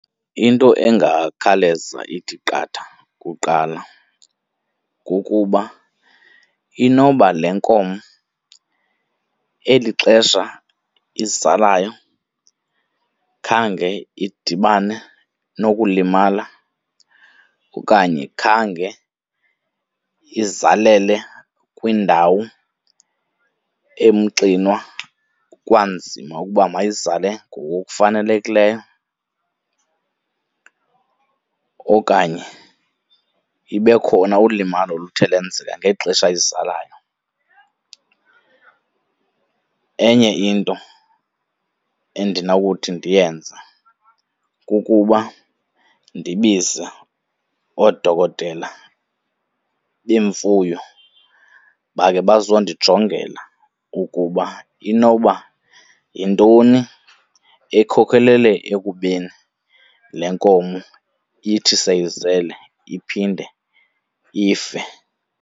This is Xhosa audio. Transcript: Into engakhawuleza ithi qatha kuqala kukuba inoba le nkomo eli xesha izalayo khange idibane nokulimala okanye khange izalele kwindawo emxinwa kwanzima ukuba mayizale ngokufanelekileyo, okanye ibe khona ulimalo oluthe lwenzeka ngexesha izalayo. Enye into endinokuthi ndiyenze kukuba ndibize oodokotela beemfuyo bakhe bazondijongela ukuba inoba yintoni ekhokelele ekubeni le nkomo ithi seyizele iphinde ife.